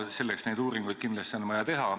Selleks on neid uuringuid kindlasti vaja teha.